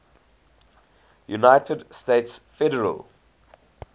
united states federal